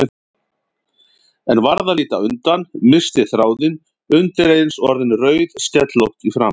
En varð að líta undan, missti þráðinn, undireins orðin rauðskellótt í framan.